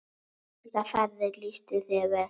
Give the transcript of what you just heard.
Þessar ferðir lýstu þér vel.